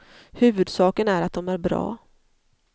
Huvudsaken är att de är bra.